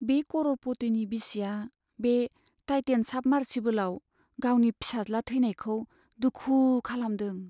बे कर'रपटिनि बिसिआ बे टाइटेन साबमार्सिबोलआव गावनि फिसाज्ला थैनायखौ दुखु खालामदों।